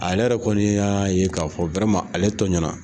Ale yɛrɛ kɔni y'a ye k'a fɔ ale tɔɲɔna